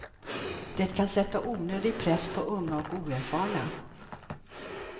Det kan sätta onödig press på unga och oerfarna.